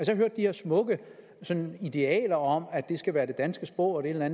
hørt de her smukke idealer om at det skal være på det danske sprog og et eller